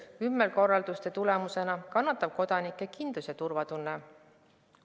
Ümberkorralduste tagajärjel kannatab kodanike kindlus- ja turvatunne.